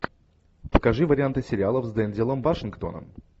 покажи варианты сериалов с дензелом вашингтоном